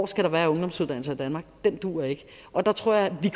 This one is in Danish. skal være ungdomsuddannelser i danmark duer ikke og der tror jeg vi